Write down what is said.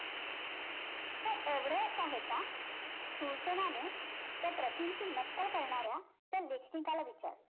हे एवढेच आहे का? सुरसेनाने त्या प्रतींची नक्कल करणाऱ्या त्या लेखनिकाला विचारलं.